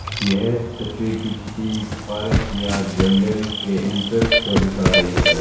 यह तस्वीर किसी पारक या जंगल के एंट्रेंस को दिखा रही है।